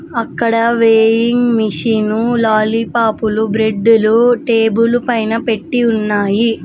అక్కడ weighing machine లాలీపాప్లు బ్రెడ్డులు టేబుల్ పైన పెట్టి ఉన్నాయి.